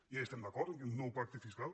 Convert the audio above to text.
ja hi estem d’acord amb aquest nou pacte fiscal